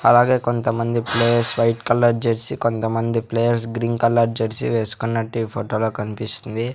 అలాగే కొంతమంది players white colour jersey కొంతమంది ప్లేయర్స్ గ్రీన్ కలర్ జెర్సీ వేసుకున్నట్టు ఈ ఫొటో లో కన్పిస్తుంది .